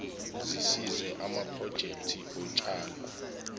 zisize amaprojekthi otshalo